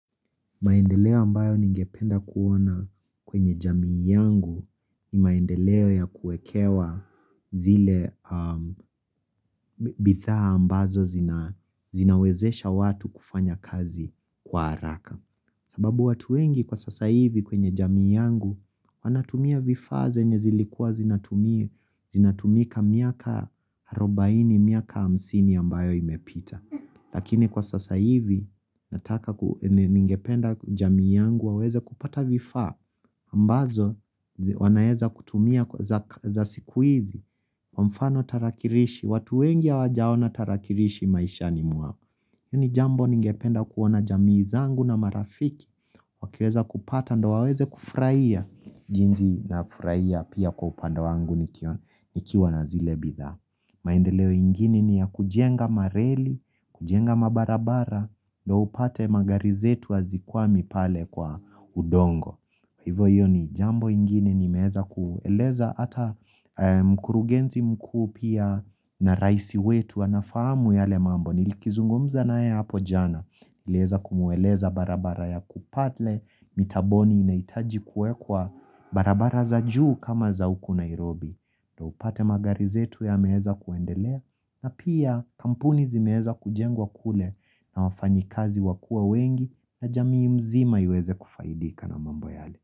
Maendeleo ambayo ningependa kuona kwenye jamii yangu ni maendeleo ya kuekewa zile a bitaa ambazo zina zinawezesha watu kufanya kazi kwa haraka. Sababu watu wengi kwa sasa hivi kwenye jamii yangu wanatumia vifaa zenye zilikua zinatumia zinatumika miaka harobaini miaka hamsini ambayo imepita. Lakini kwa sasa hivi nataka kue ningependa jamii yangu waweze kupata vifaa ambazo zi wanaweza kutumia k za siku hizi kwa mfano tarakirishi, watu wengi hawajaona tarakirishi maishani mwao iyo ni jambo ningependa kuona jamii zangu na marafiki Wakiweza kupata ndo waweze kufurahia jinsi nafurahia pia kwa upande wangu nikio nikiwa na zile bidhaa maendeleo ingini ni ya kujenga mareli, kujenga mabarabara, ndo upate magari zetu hazikwami pale kwa udongo. Hivo hiyo ni jambo ingini nimeheza kueleza ata mkurugenzi mkuu pia na raisi wetu wanafamu yale mambo. Nilikizungumza naye hapo jana. Niliweza kumweleza barabara ya kupale, mitaboni inaitaji kuekwa barabara za juu kama za huku Nairobi. Na upate magari zetu yameheza kuendelea na pia kampuni zimeheza kujengwa kule na wafanyikazi wakua wengi na jamii mzima iweze kufaidika na mambo yale.